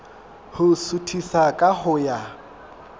ho suthisa ka ho ya